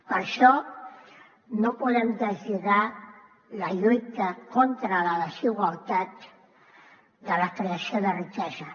per això no podem deslligar la lluita contra la desigualtat de la creació de riquesa